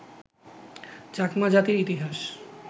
চাকমা জাতির ইতিহাস